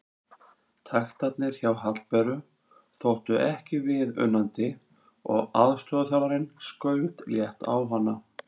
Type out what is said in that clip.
Taktarnir hjá Hallberu þóttu ekki viðunandi og aðstoðarþjálfarinn skaut létt á hana.